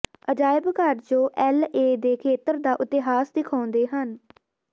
ਅਜਾਇਬ ਘਰ ਜੋ ਐੱਲ ਏ ਦੇ ਖੇਤਰ ਦਾ ਇਤਿਹਾਸ ਦਿਖਾਉਂਦੇ ਹਨ